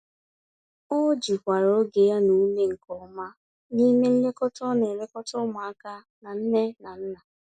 Ọ jikwara oge ya na ume nke ọma, n'ime nlekọta ọ n'elekota ụmụaka na nne na nna.